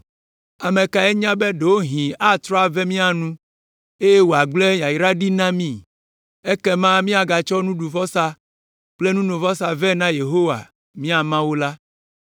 Ame kae nya be ɖewohĩ atrɔ ave mía nu eye wòagblẽ yayra ɖi na mí? Ekema míagatsɔ nuɖuvɔsa kple nunovɔsa vɛ na Yehowa, mia Mawu la.